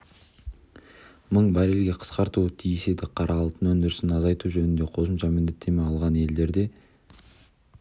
мың баррельге қысқартуы тиіс еді қара алтын өндірісін азайту жөнінде қосымша міндеттеме алған елдер де